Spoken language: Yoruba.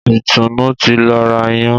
Ìtùnú ti lọ ra Iyán.